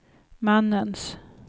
mannens